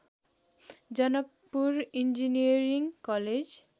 Janakpur engineering college